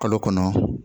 Kalo kɔnɔ